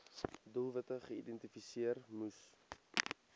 doelwitte geïdentifiseer moes